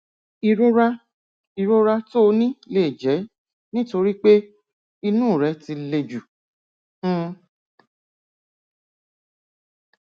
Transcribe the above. ìrora ìrora tó o ní lè jẹ nítorí pé inú rẹ ti le jù um